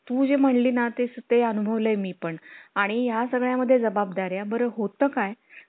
मोठं दुकान असत्यात. market शांत बंद असतंय ना बुधवारचं हं उद्या मारीन चक्कर तुमच्याकडं चक्कर मारीन उद्या.